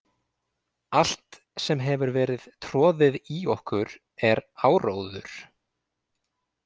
Allt sem hefur verið troðið í okkur er áróður.